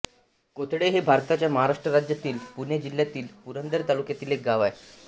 कोथळे हे भारताच्या महाराष्ट्र राज्यातील पुणे जिल्ह्यातील पुरंदर तालुक्यातील एक गाव आहे